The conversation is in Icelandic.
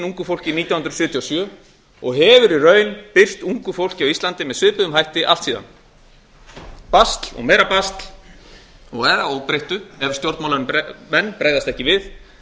ungu fólki nítján hundruð sjötíu og sjö og hefur í raun birst ungu fólki á íslandi með svipuðum hætti allt síðan basl og meira basl nú eða óbreytt ef stjórnmálamenn bregðast ekki við